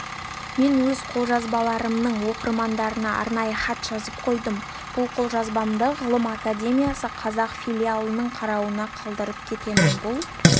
мен өз қолжазбаларымның оқырмандарына арнайы хат жазып қойдым бұл қолжазбамды ғылым академиясы қазақ филиалының қарауына қалдырып кетемін бұл